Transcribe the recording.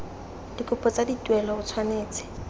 dikopo tsa dituelo o tshwanetse